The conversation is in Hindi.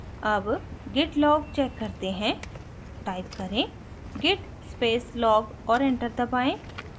अब git log check करते हैं टाइप करें git space log और enter दबाएँ